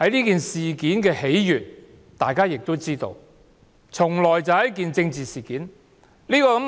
大家皆知道，此事是由一件政治事件所致。